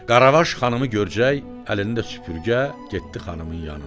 Qaravaş xanımı görcək əlində süpürgə getdi xanımın yanına.